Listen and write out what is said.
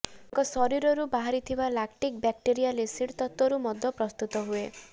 ତାଙ୍କ ଶରୀରରୁ ବାହାରୁଥିବା ଲାକ୍ଟିକ୍ ବ୍ୟାକ୍ଟେରିୟାଲ୍ ଏସିଡ୍ ତତ୍ତ୍ୱରୁ ମଦ ପ୍ରସ୍ତୁତ ହୁଏ